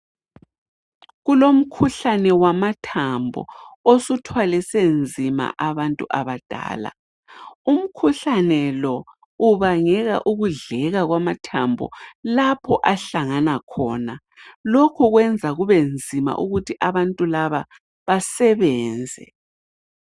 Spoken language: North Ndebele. Kulomkhuhlane wamathambo osuthwalise nzima abantu abadala. Umkhuhlane lo ubangela ukudleka kwamathambo lapho ahlangana khona lokhu kwenza kube nzima ukuthi abantu laba basebenze.